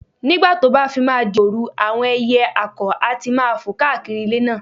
Nígbà tó bá fi máa di òru, àwọn ẹyẹ àkọ̀ á ti máa fò káàkiri ilé náà